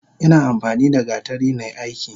Ina amfanida gatari nai aiki.